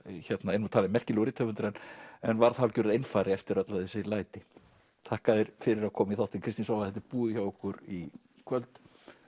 er nú talinn merkilegur rithöfundur en en varð hálfgerður einfari eftir öll þessi læti þakka þér fyrir að koma í þáttinn Kristín Svava þetta er búið hjá okkur í kvöld